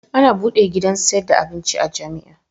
Ana buɗe gidan saida abinci a jamia